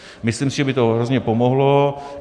Myslím si, že by to hrozně pomohlo.